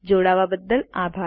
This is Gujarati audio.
જોડાવા બદ્દલ આભાર